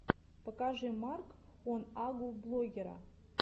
покажи марк он агу блогера